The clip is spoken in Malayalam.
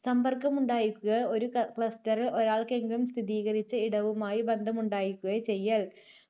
സമ്പർക്കമുണ്ടായിരിക്കുകയോ ഒരു ക~ cluster ൽ ഒരാൾക്കെങ്കിലും സ്ഥിരീകരിച്ച ഇടവുമായി ബന്ധമുണ്ടായിരിക്കുകയോ ചെയ്യൽ.